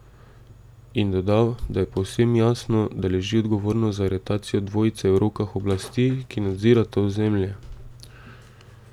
In dodal, da je povsem jasno, da leži odgovornost za aretacijo dvojice v rokah oblasti, ki nadzira to ozemlje.